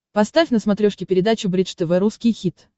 поставь на смотрешке передачу бридж тв русский хит